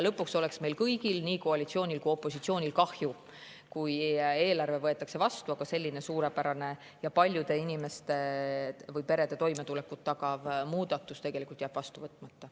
Lõpuks oleks meil kõigil – nii koalitsioonil kui ka opositsioonil – kahju, kui eelarve võetakse vastu, aga selline suurepärane paljude perede toimetulekut tagav muudatus jääks vastu võtmata.